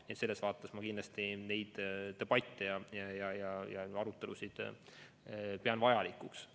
Nii et selles vaates ma kindlasti neid debatte ja arutelusid pean vajalikuks.